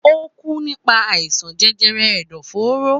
Ókú nípa àìsàn jẹjẹrẹ ẹ̀dọ̀fóró